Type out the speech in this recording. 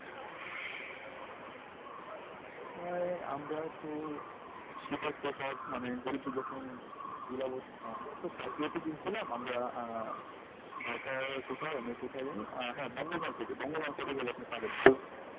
ঢাকাই আমরা তো শীতের পোশাক মানে গরিবদের যখন হম বিলাবো আমরা তো পাইকারিতে কিনছিলাম আমরা আহ ঢাকার কোথায় আমি কোথায় জানি আহ হ্যাঁ বঙ্গ market এ বঙ্গ market এ গেলে আপনি পাবেন ও গুলো